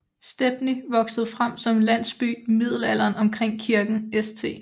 Stepney voksede frem som en landsby i Middelalderen omkring kirken St